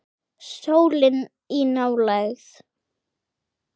Sólin í nálægð.